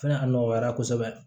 Fɛnɛ a nɔgɔyara kosɛbɛ